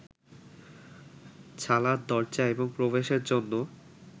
ছালার দরজা এবং প্রবেশের জন্য